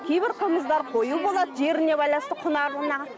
кейбір қымыздар қою болады жеріне байланысты құнарлығына